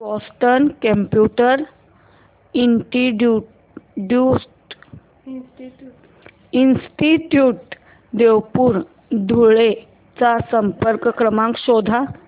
Boston computer institute Devpur Dhule चा संपर्क क्रमांक शोध